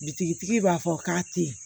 Bitigi tigi b'a fɔ k'a tɛ ye